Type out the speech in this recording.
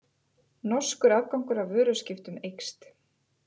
Norskur afgangur af vöruskiptum eykst